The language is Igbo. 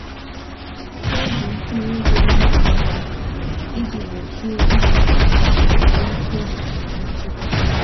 M na-eji ntinye ego naanị ego iji gbochie imefu ego ma melite ọzụzụ nchekwa.